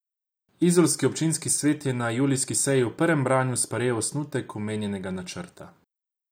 Izolski občinski svet je na julijski seji v prvem branju sprejel osnutek omenjenega načrta.